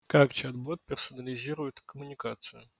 как чат-бот персонализирует коммуникацию